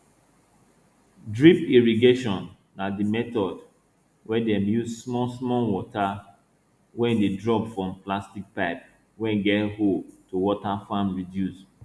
drip irrigation na di method wey dem dey use small small water wey dey drop from plastic pipe wey get hole to water farm reduce